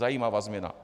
Zajímavá změna.